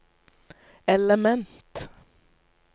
element